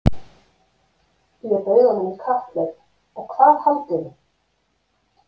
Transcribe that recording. Ég bauð honum í kapphlaup og hvað haldið þið?